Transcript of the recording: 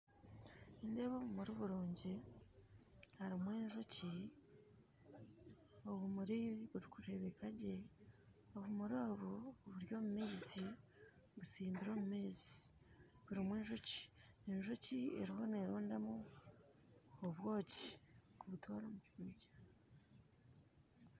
Nindeeba obumuri burungi harimu enjoki obumuri burikurebeka gye obumuri obu buri omu maizi busimbirwe omu maizi burimu enjoki enjoki eriho nerondamu obwokyi kubutwara mu kihuumi kyayo